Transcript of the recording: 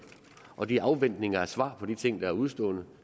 og i afventning af svar på ting der er udestående